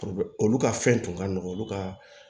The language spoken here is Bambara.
olu ka fɛn tun ka nɔgɔn olu ka